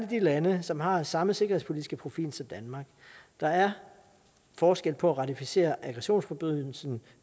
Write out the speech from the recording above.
de lande som har samme sikkerhedspolitiske profil som danmark der er forskel på at ratificere aggressionsforbrydelsen